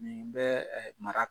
Nin bɛ ɛɛ mara